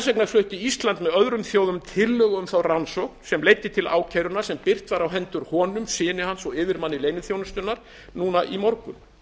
vegna flutti ísland með öðrum þjóðum tillögu um þá rannsókn sem leiddi til ákærunnar sem birt var á hendur honum syni hans og yfirmanni leyniþjónustunnar núna í morgun